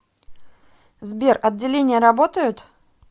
сбер отделения работают